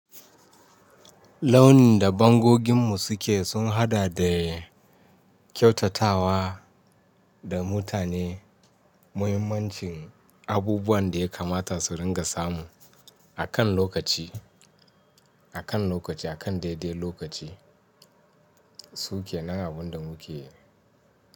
Launin da bangoginmu suke sun haɗa da kyautatawa da mutane muhimmancin abubuwan da ya kamata su ringa samu a kan lokaci, a kan lokaci, a kan daidai lokaci su ke nan abin da muke yi.